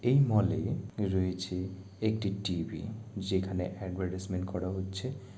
এই মল -এ রয়েছে একটি টি.ভি. । যেখানে এডভারটাইজমেন্ট করা হচ্ছে ।